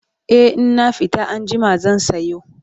e in na fita anjima zan sayo